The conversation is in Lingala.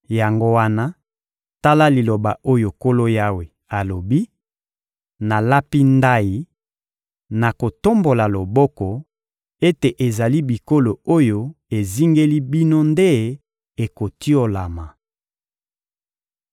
Yango wana, tala liloba oyo Nkolo Yawe alobi: nalapi ndayi, na kotombola loboko, ete ezali bikolo oyo ezingeli bino nde ekotiolama.